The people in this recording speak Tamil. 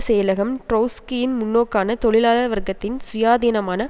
செயலகம் ட்ரௌஸ்கியின் முன்னோக்கான தொழிலாளர் வர்க்கத்தின் சுயாதீனமான